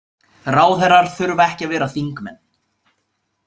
Ráðherrar þurfa ekki að vera þingmenn.